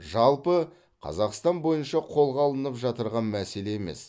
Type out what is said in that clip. жалпы қазақстан бойынша қолға алынып жатырған мәселе емес